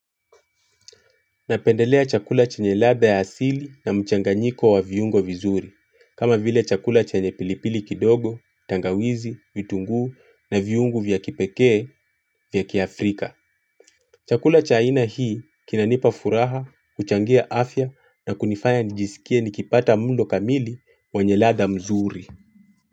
Napendelea chakula chenye ladha ya asili na mchanganyiko wa viungo vizuri, kama vile chakula chanye pilipili kidogo, tangawizi, vitunguu na viungo vya kipekee vya kiafrika. Chakula cha aina hii kinanipa furaha, kuchangia afya na kunifanya nijisikie nikipata mlo kamili wenye ladha mzuri.